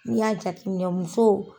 Ni y'a jateminɛ musow